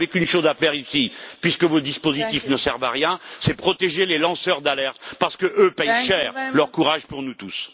Vous n'avez qu'une chose à faire ici puisque vos dispositifs ne servent à rien, c'est protéger les lanceurs d'alerte, parce qu'eux paient cher leur courage pour nous tous.